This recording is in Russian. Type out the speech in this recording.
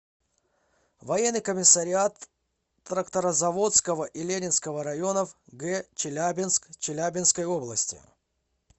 военный комиссариат тракторозаводского и ленинского районов г челябинск челябинской области